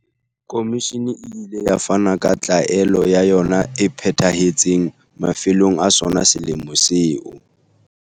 Komishini e ile ya fana ka tlaelo ya yona e phethahetseng mafelong a sona selemo seo.